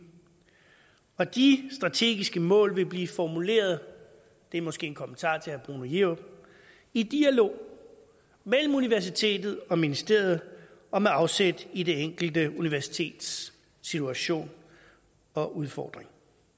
og de strategiske mål vil blive formuleret det er måske en kommentar til herre bruno jerup i dialog mellem universitetet og ministeriet og med afsæt i det enkelte universitets situation og udfordring